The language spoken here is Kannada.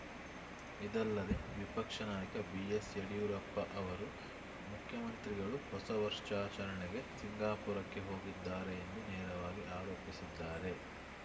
ಇದಲ್ಲದೇ ವಿಪಕ್ಷ ನಾಯಕ ಬಿ ಎಸ್‌ ಯಡಿಯೂರಪ್ಪ ಅವರು ಮುಖ್ಯಮಂತ್ರಿಗಳು ಹೊಸ ವರ್ಷಾಚರಣೆಗೆ ಸಿಂಗಾಪುರಕ್ಕೆ ಹೋಗಿದ್ದಾರೆ ಎಂದು ನೇರವಾಗಿ ಆರೋಪಿಸಿದ್ದಾರೆ